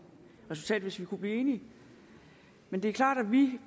resultat hvis vi vil kunne blive enige men det er klart at vi